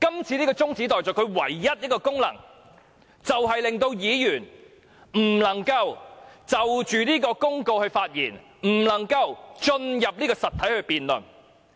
這項中止待續議案的唯一功能是，令議員不能就《公告》發言，不能進入實體辯論。